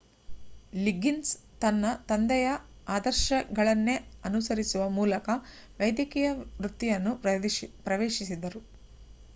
Liggins ತನ್ನ ತಂದೆಯ ಆದರ್ಶಗಳನ್ನೇ ಅನುಸರಿಸುವ ಮೂಲಕ ವೈದ್ಯಕೀಯ ವೃತ್ತಿಯನ್ನು ಪ್ರವೇಶಿಸಿದರು